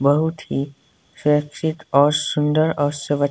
बहुत ही शैक्षिक और सुंदर और स--